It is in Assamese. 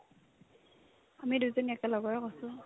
আমি দুজনী একেলগৰে hostel ৰ